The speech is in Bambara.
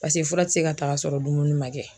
Paseke fura ti se ka ta ka sɔrɔ dumuni ma kɛ.